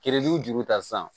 Keredu juru ta sisan